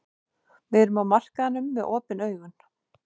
Við erum á markaðinum með augun opin.